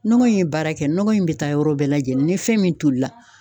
Nɔgɔ in ye baara kɛ nɔgɔ in be taa yɔrɔ bɛɛ lajɛlen ni fɛn min tolila